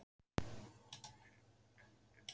En brugðust háskólarnir í aðdraganda hrunsins?